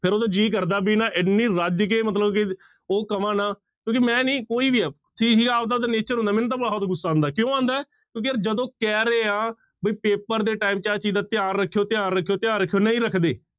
ਫਿਰ ਉਦੋਂ ਜੀਅ ਕਰਦਾ ਵੀ ਨਾ ਇੰਨੀ ਰੱਜ ਕੇ ਮਤਲਬ ਕਿ ਉਹ ਕਵਾਂ ਨਾ ਕਿਉਂਕਿ ਮੈਂ ਨੀ ਕੋਈ ਵੀ ਆਪਦਾ ਤਾਂ nature ਹੁੰਦਾ ਮੈਨੂੰ ਤਾਂ ਬਹੁਤ ਗੁੱਸਾ ਆਉਂਦਾ ਕਿਉਂ ਆਉਂਦਾ ਹੈ ਕਿਉਂਕਿ ਯਾਰ ਜਦੋਂ ਕਹਿ ਰਹੇ ਆ ਵੀ ਪੇਪਰ ਦੇ time ਚ ਆਹ ਚੀਜ਼ਾਂ ਧਿਆਨ ਰੱਖਿਓ, ਧਿਆਨ ਰੱਖਿਓ, ਧਿਆਨ ਰੱਖਿਓ ਨਹੀਂ ਰੱਖਦੇ।